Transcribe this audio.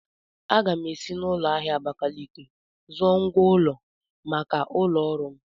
Aga m ga-esi n'ụlọ ahịa Abakaliki zụọ ngwá ụlọ maka ụlọ ọrụ m.